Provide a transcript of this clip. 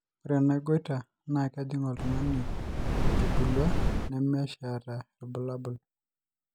ore ena goiter naa kejing oltungani etubulua nemesh eeta irbulabol